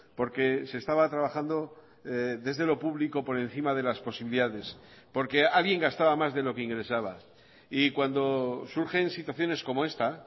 porque se estaba trabajando desde lo público por encima de las posibilidades porque alguien gastaba más de lo que ingresaba y cuando surgen situaciones como esta